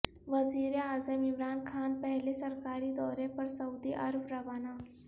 وزیراعظم عمران خان پہلے سرکاری دورے پر سعودی عرب روانہ